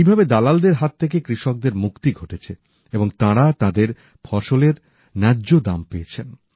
এইভাবে দালালদের হাত থেকে কৃষকদের মুক্তি ঘটেছে এবং তাঁরা তাঁদের ফসলের ন্যায্য দাম পেয়েছেন